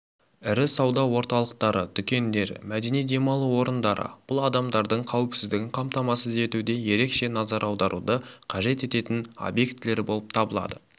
ірі сауда орталықтары дүкендер мәдени демалу орындары бұл адамдардың қауіпсіздігін қамтамасыз етуде ерекше назар аударуды қажет ететін объектілер болып табылады